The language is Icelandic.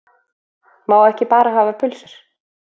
Má ekki bara hafa pulsur